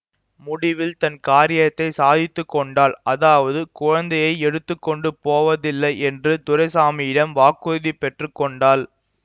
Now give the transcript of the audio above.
முடிவில் தன் காரியத்தை சாதித்துக் கொண்டாள் அதாவது குழந்தையை எடுத்து கொண்டு போவதில்லை என்று துரைசாமியிடம் வாக்குறுதி பெற்று கொண்டாள்